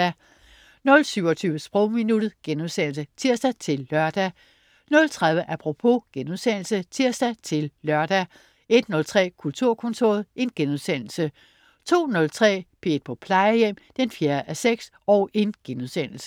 00.27 Sprogminuttet* (tirs-lør) 00.30 Apropos* (tirs-lør) 01.03 Kulturkontoret* 02.03 P1 på Plejehjem 4:6*